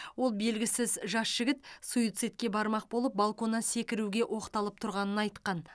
ол белгісіз жас жігіт суицидке бармақ болып балконнан секіруге оқталып тұрғанын айтқан